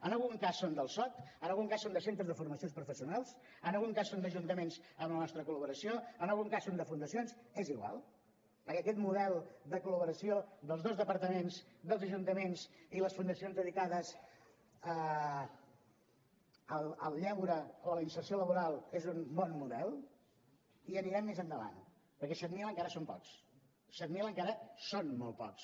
en algun cas són del soc en algun cas són de centres de formacions professionals en algun cas són d’ajuntaments amb la nostra col·laboració en algun cas són de fundacions és igual perquè aquest model de col·laboració dels dos departaments dels ajuntaments i les fundacions dedicades al lleure o a la inserció laboral és un bon model i anirem més endavant perquè set mil encara són pocs set mil encara són molt pocs